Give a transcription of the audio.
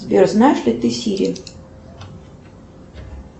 сбер знаешь ли ты сири